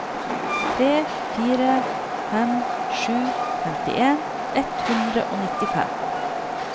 tre fire fem sju femtien ett hundre og nittifem